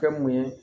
Kɛ mun ye